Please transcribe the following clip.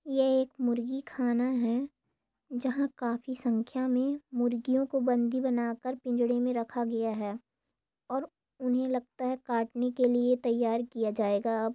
ये एक मुर्गी खाना है जहा काफी संख्या मे मुर्गियों को बंधी बना कर पिंजरों मे रखा गया है और उन्हे लगता है काटने के लिए तैयार किया जाएगा अब।